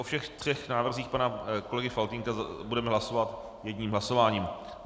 O všech třech návrzích pana kolegy Faltýnka budeme hlasovat jedním hlasováním.